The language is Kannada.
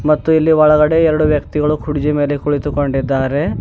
ಮತ್ತು ಇಲ್ಲಿ ಒಳಗಡೆ ಎರಡು ವ್ಯಕ್ತಿಗಳು ಕುರ್ಜಿ ಮೇಲೆ ಕುಳಿತುಕೊಂಡಿದ್ದಾರೆ.